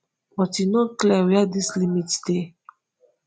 but e no clear wia dis limits dey